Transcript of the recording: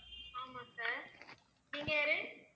ஆமா sir நீங்க யாரு